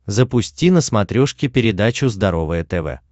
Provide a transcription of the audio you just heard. запусти на смотрешке передачу здоровое тв